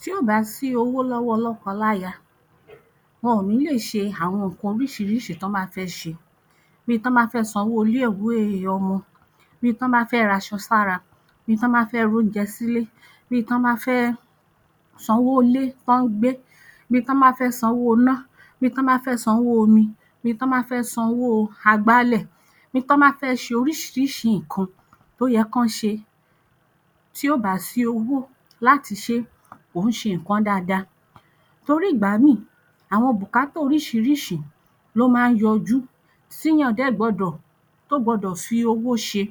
Tí ò bá sí owó lọ́wọ́ lọ́kọláya wọn ò ní leè ṣe àwọn nǹkan oríṣirísi t’ọ́n bá fẹ́ ṣe. Bíi t’ọ́n bá fẹ́ san owó ilé-ìwé ọmọ, bíi t’ọ́n bá fẹ́ raṣọ sára, bíi t’ọ́n bá fẹ́ r’oúnjẹ sílé, bíi t’ọ́n bá fẹ́ sanwó ilé t’ọ́n ń gbé, bíi t’ọ́n bá fẹ́ sanwó iná, bíi t’ọ́n bá fẹ́ sanwó omi, bíi t’ọ́n bá fẹ́ sanwó agbálẹ̀, bíi t’ọ́n bá fẹ́ ṣe oríṣiríṣi nǹkan tó yẹ k’ọ́n ṣe, tí ò bá sí owó láti ṣe kò ń ṣe nǹkan dáadáa. Torí ìgbàmíì àwọn bùkátà oríṣiríṣi ló máa ń yọjú tíyàn dẹ̀ gbọdọ̀ tó gbọdọ̀ fi owó ṣe.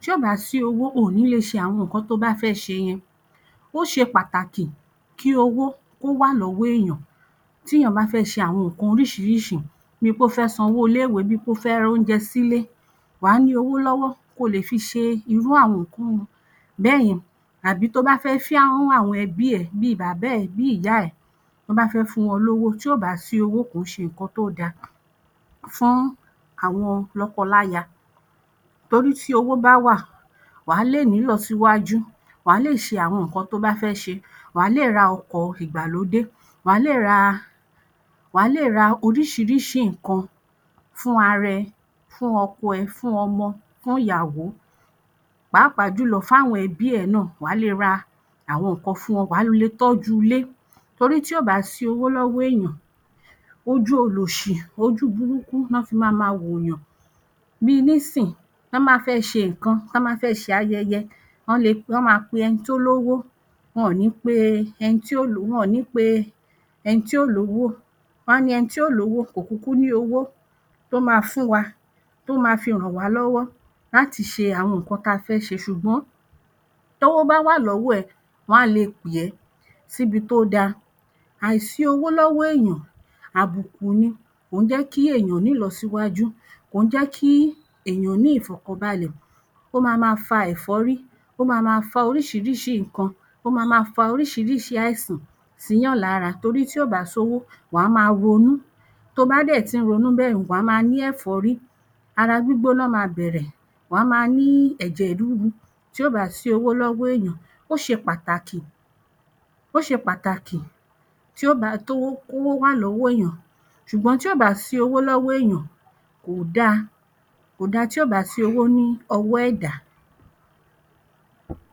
Tí ò bá sí owó oò ní le ṣe àwọn nǹkan to bá fẹ́ ṣe yẹn. Ó ṣe pàtàkì kí owó kó wà lọ́wọ́ èèyàn tíyàn bá fẹ́ ṣe àwọn nǹkan oríṣiríṣi bíi pé o fẹ́ sanwó ilé-ìwé, bíi pé o fẹ́ roúnjẹ sílé, wàá ní owó lọ́wọ́ kí o lè fi ṣe irú àwọn bẹ́yẹn àbí tí o bá fẹ́ fún àwọn ẹbí ẹ bíi bàbá ẹ bíi ìyá ẹ, tí o bá fẹ́ fún wọn lówó, tí ò bá sí owó, kò ń ṣe nǹkan tí ó da fún àwọn lọ́kọláya. Torí tí owó bá wà wàá lè ní ìlọsíwájú, wàá lè ṣe àwọn nǹkan to bá fẹ́ ṣe, wàá lè ra ọkọ̀ ìgbàlódé, wàá lè ra wàá lè ra oríṣiríṣi nǹkan fún ara ẹ, fún ọkọ ẹ, fún ọmọ, fún ìyàwó pàápàá jùlọ fún àwọn ẹbí ẹ náà, wàá lè ra àwọn nǹkan fún wọn. Wàá lè tọ́jú ilé, nítorí tí ò bá sí owó lọ́wọ́ èyàn, ojú olòṣì, ojú burúkú ni wọ́n fi máa wò’yàn. Bíi nísìn t’ọ́n bá fẹ́ ṣe nǹkan, t’ọ́n bá fẹ́ ṣe ayẹyẹ, wọ́n lè wọ́n máa pe ẹni tí ó lówó, wọ́n ò ní pe ẹni tí óò wọn ò ní pe ẹni tí ò lówó. Wọ́n á ní ẹni tí ò lówó kò kúkú ní owó tó máa fún wa tó máa fi rànwá lọ́wọ́ láti ṣe àwọn nǹkan tí a fẹ́ ṣe. Ṣùgbọ́n tówó bá wà lọ́wọ́ ẹ, wọ́n á le pè ẹ́ síbi tó da. Àìsí owó lọ́wọ́ èyàn àbùkù ni, kò ń jẹ́ kí èèyàn ní ìlọsíwájú, kò ń jẹ́ kí èyàn ní ìfọ̀kànbalẹ̀, ó ma máa fa ẹ̀fọ́rí, ó ma máa fa oríṣiríṣi nǹkan, ó ma máa fa oríṣiríṣi àìsàn síyàn lára torí tí ò bá sí owó, wa máa ronú, to bá dẹ̀ ti ń ronú bẹ́yẹn wàá máa ní ẹ̀fọ́rí, ara gbígbóná máa bẹ̀rẹ̀, wàá máa ní ẹ̀jẹ̀ rúru. Tí ò bá sí owó lọ́wọ́ èyàn, ó ṣe pàtàkì ó ṣe pàtàkì tí ó bá kówó wà lọ́wọ́ èyàn ṣùgbọ́n tí ò bá sí owó lọ́wọ́ èyàn ko dáa. Kò da tí ò bá sí owó ní ọwọ́ ẹ̀dá.